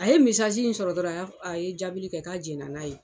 A ye in sɔrɔ dɔrɔn a ya jaabili kɛ k'a jɛna n'a ye.